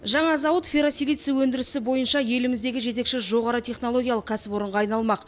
жаңа зауыт ферросилиций өндірісі бойынша еліміздегі жетекші жоғары технологиялық кәсіпорынға айналмақ